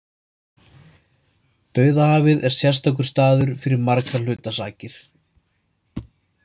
Dauðahafið er sérstakur staður fyrir margra hluta sakir.